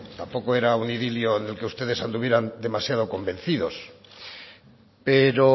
tampoco era un idilio en el que ustedes anduvieran demasiado convencidos pero